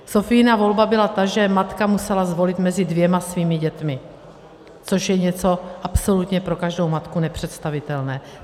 Sophiina volba byla ta, že matka musela zvolit mezi dvěma svými dětmi, což je něco absolutně pro každou matku nepředstavitelné.